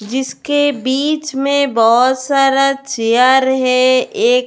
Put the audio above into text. जिसके बीच में बहुत सारा चेयर है एक.